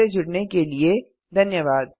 हमसे जुड़ने के लिए धन्यवाद